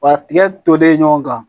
Wa tigɛ tolen ɲɔgɔn kan